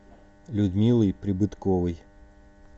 людмилой прибытковой